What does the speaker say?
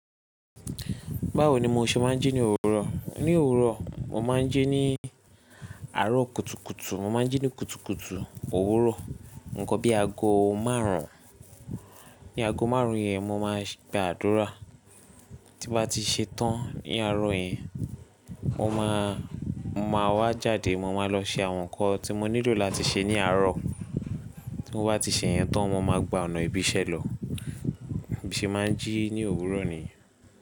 Báwo ni mo ṣe máa ń jí ní òwúrọ̀? Ní òwúrọ̀, mo máa ń jí ní àárọ̀ kùtùkùtù. Mo máa ń jí ní kùtùkùtù òwúrọ̀. Nǹkan bí i ago márùn-ún. Ní ago márùn-ún yẹn, mo máa gba àdúrà. Tí mo bá ti ṣe tán ní àárọ̀ yẹn, mo máa, mo máa wá jáde. Mo máa lọ ṣe àwọn nǹkan tí mo nílò láti ṣe ní àárọ̀. Tí mo bá ti ṣe yẹn tán, mo máa gba ọ̀nà ìbí ìṣẹ́ lọ. Bí n se máa ji ni òwúrò nìyen.